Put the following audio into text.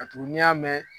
Ka tugu n'i y'a mɛn